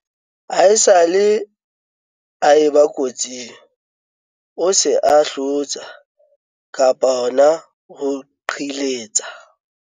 ha esale a e ba kotsing o se a hlotsa, qhiletsa